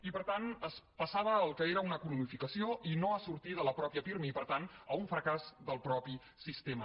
i per tant es passava al que era una cronificació i no a sortir de la mateixa pirmi per tant a un fracàs del mateix sistema